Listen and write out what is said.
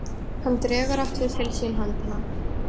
Hann dregur aftur til sín höndina.